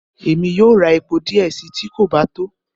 Emi yóò rá epó diẹ sii, ti kò ba to.